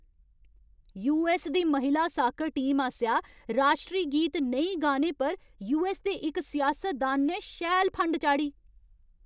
US दी महिला soccer team आसेआ राश्ट्री गीत नेईं गाने पर यूऐस्स दे इक सियासतदान ने शैल फंड चाढ़ी ।